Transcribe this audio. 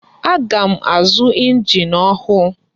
Aga m azu engine ọhụụ.